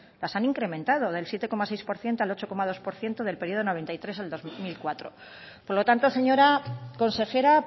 las han incrementado del siete coma seis por ciento al ocho coma dos por ciento del periodo mil novecientos noventa y tres al dos mil cuatro por lo tanto señora consejera